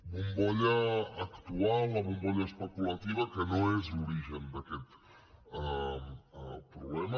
bombolla actual la bombolla especulativa que no és l’origen d’aquest problema